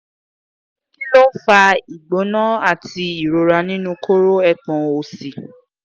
kílo fa ìgbóná ati ìrora ninu koro ẹpọn òsì